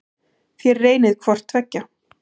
Þér reynið hvort tveggja.